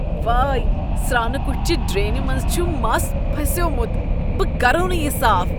وٲے! سرٛانہٕ کٹھۍ چہ ڈرٛینہ منٛز چھ مس پھسیومت۔ بہٕ کرووٕ نہٕ یہ صاف۔